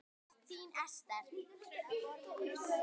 Þín Esther.